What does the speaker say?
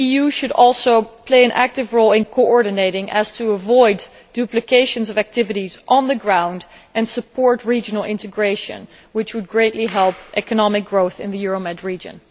The EU should also play an active coordinating role, so as to avoid duplication of activities on the ground, and it should support regional integration, which would greatly help economic growth in the Euromed region.